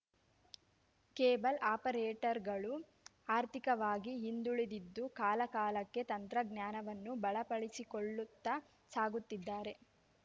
cable ಆಪರೇಟರ್‌ಗಳು ಆರ್ಥಿಕವಾಗಿ ಹಿಂದುಳಿದಿದ್ದು ಕಾಲಕಾಲಕ್ಕೆ ತಂತ್ರಜ್ಞಾನವನ್ನು ಬಲಪಡಿಸಿಕೊಳ್ಳುತ್ತಾ ಸಾಗುತ್ತಿದ್ದಾರೆ